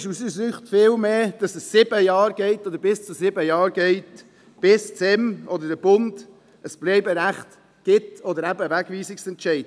Aus unserer Sicht ist vielmehr stossend, dass es sieben Jahre, oder bis zu sieben Jahre geht, bis das SEM oder der Bund ein Bleiberecht geben oder eben einen Wegweisungsentscheid aussprechen.